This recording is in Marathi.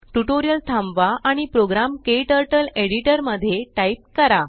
ट्यूटोरियल थांबवा आणि प्रोग्राम क्टर्टल एडिटर मध्ये टाइप करा